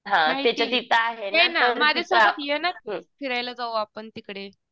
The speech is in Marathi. ये ना माझ्यासोबत ये ना फिरायला जाऊ आपण तिकडे.